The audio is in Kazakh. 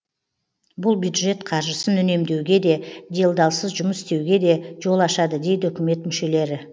бұл бюджет қаржысын үнемдеуге де делдалсыз жұмыс істеуге де жол ашады дейді үкімет мүшелері